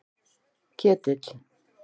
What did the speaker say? Ketill